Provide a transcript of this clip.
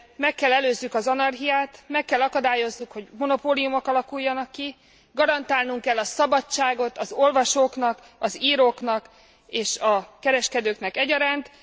Meg kell előzzük az anarchiát, meg kell akadályozzuk, hogy monopóliumok alakuljanak ki. Garantálnunk kell a szabadságot az olvasóknak, az íróknak és a kereskedőknek egyaránt.